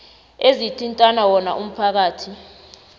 ezithinta wona umphakathi